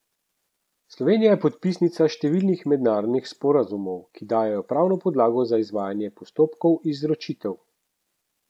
Slovenija je podpisnica številnih mednarodnih sporazumov, ki dajejo pravno podlago za izvajanje postopkov izročitev.